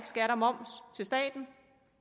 skat og moms til staten